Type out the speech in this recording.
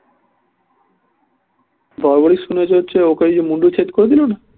বড়বড়ি শুনেছে হচ্ছে ওকে ওই যে মুণ্ডছেদ করে দিলো না